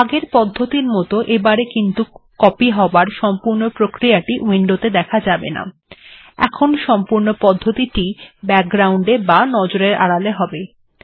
আগের পদ্ধতির মত এইবারে কিন্তু কপি হবার প্রক্রিয়াটি উইন্ডোত়ে দেখা যাবে না এখন সম্পূর্ণ প্রক্রিয়া টি ব্যাকগ্রাউন্ড এ বা নজরের আড়ালে হবে